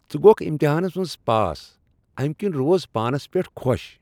ژٕ گوگھ امتحانس منز پاس، امہ کِنۍ روز پانس پیٹھ خوش۔